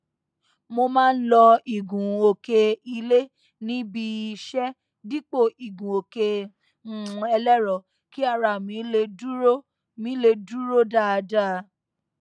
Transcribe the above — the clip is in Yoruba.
mo má n lo ìgunòkè ilé níbi iṣẹ dípò igunòkè um ẹlẹrọ kí ara mi lè dúró mi lè dúró dáadáa